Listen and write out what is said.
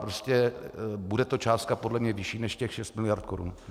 Prostě bude to částka podle mě vyšší než těch šest miliard korun.